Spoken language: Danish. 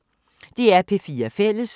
DR P4 Fælles